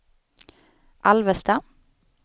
Alvesta